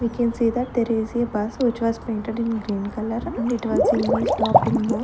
we can see that there is a bus which was painted in green colour and it was in the stopping mode.